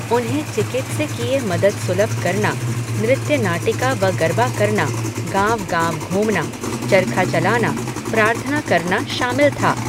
उन्हें चिकित्सकीय मदद सुलभ करना, नृत्यनाटिका व गरबा करना, गांव गांव घूमना, चरखा चलाना, प्रार्थना करना शामिल था,